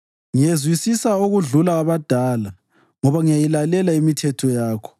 Ngiyezwisisa okudlula abadala, ngoba ngiyayilalela imithetho yakho.